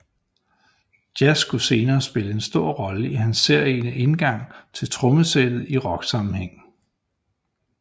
Jazz skulle senere spille en stor rolle i hans særegne indgang til trommesættet i rocksammenhæng